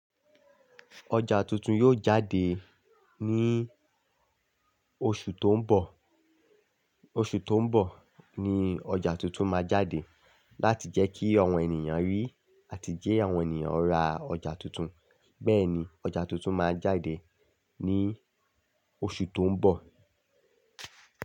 Ọjà tuntun yóò jáde ní oṣù tó ń bọ̀. Oṣù tó ń bọ̀ ni ọjà tuntun máa jáde láti jẹ́ kí àwọn ènìyàn rí á ti jẹ àwọn ènìyàn rà ọjà tuntun. Bẹ́ẹ̀ ni ọjà tuntun máa jáde ní oṣù tó ń bọ̀.